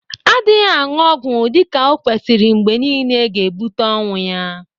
Adịghị añụ ọgwọ dịka o kwesiri mgbe niile ga-ebụte ọnwụ ya.